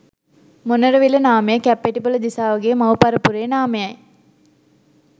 මොණරවිල නාමය කැප්පෙටිපොළ දිසාවගේ මව් පරපුරේ නාමයයි.